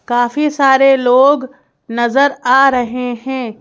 काफी सारे लोग नजर आ रहे हैं।